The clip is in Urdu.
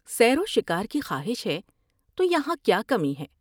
سیر و شکار کی خواہش ہے تو یہاں کیا کمی ہے ۔